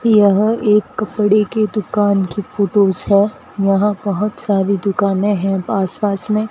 यह एक कपड़े की दुकान की फोटोस है यहां बहोत सारी दुकाने हैं आस पास में।